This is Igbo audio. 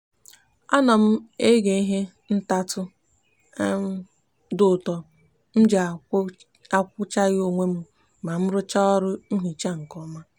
a no m eghe ihe ntatu um di uto mji akwughachi onwe m ma nrucha oru nhicha m nke oma